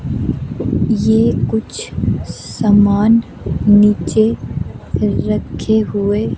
ये कुछ समान नीचे रखे हुए--